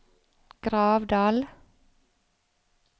Gravdal